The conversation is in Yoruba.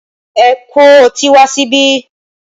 Ẹ kó ọtí wá síbí!